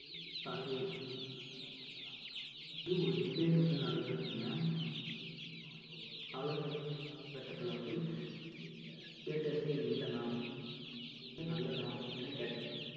இருக்காது இது நல்லதா கெட்டதா அப்படின்னு வந்து ஒரு debate வந்து நடந்திருக்குங்க அதாவது cinema இப்போ வரும் கால கட்~ கால கட்டத்துல வந்து theatres ஏ இல்லைன்னா அது வந்து நல்லதா இல்லை கெட்டதா